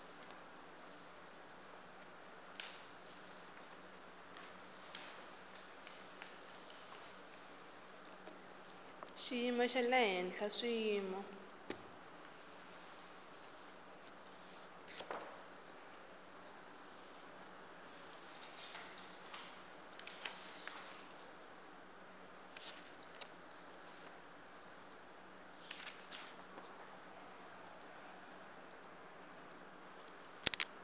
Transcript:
xiyimo xa le henhla swiyimo